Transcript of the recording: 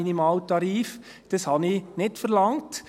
Das habe ich nicht verlangt.